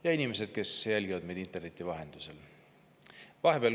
Head inimesed, kes te jälgite meid interneti vahendusel!